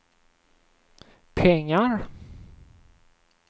pengar